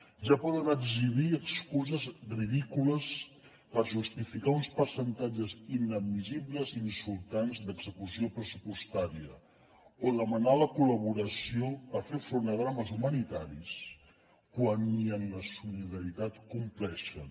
ja poden exhibir excuses ridícules per justificar uns percentatges inadmissibles i insultants d’execució pressupostària o demanar la col·laboració per fer front a drames humanitaris quan ni en la solidaritat compleixen